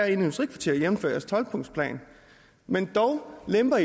industrikvarter jævnfør regeringens tolv punktsplan men dog lemper